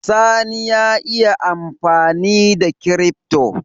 Sani ya iya amfanida crypto